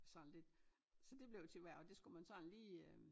Sådan lidt så det blev til hvert og det skulle man sådan lige øh